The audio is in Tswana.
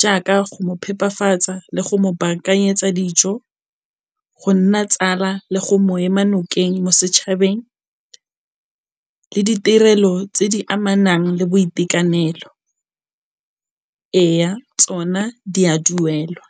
jaaka go mo phepafatsa le go mo baakanyetsa dijo, go nna tsala le go mo ema nokeng mo setšhabeng le ditirelo tse di amanang le boitekanelo. Eya, tsona di a duelwa.